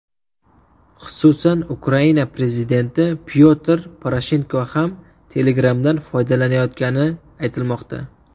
Xususan, Ukraina prezidenti Pyotr Poroshenko ham Telegram’dan foydalanayotgani aytilmoqda.